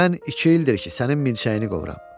Mən iki ildir ki, sənin milçəyini qovuram.